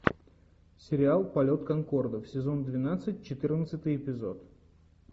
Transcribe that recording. сериал полет конкордов сезон двенадцать четырнадцатый эпизод